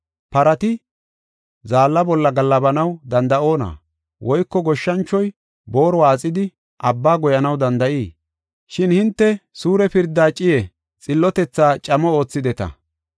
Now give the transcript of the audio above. Parati zaalla bolla gaallabanaw danda7oona? Woyko goshshanchoy boori waaxidi, abba goyanaw danda7ii? Shin hinte suure pirdaa ciiye, xillotethaa camo oothideta.